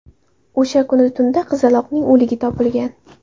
O‘sha kuni tunda qizaloqning o‘ligi topilgan.